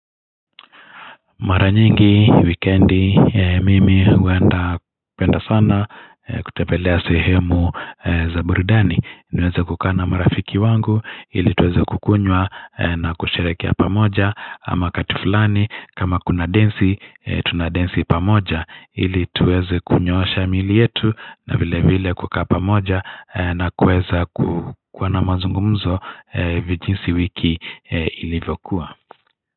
Mara nyingi wikendi mimi huwenda penda sana kutembelea sehemu zaburidani naweze kukaa na marafiki wangu ili tuweze kukunywa na kusherekea pamoja ama kati fulani kama kuna densi tunadensi pamoja ili tuweze kunyoosha mili yetu na vile vile kuka pamoja na kuweza ku kuwa na mazungumzo vijinsi wiki ilivyokua.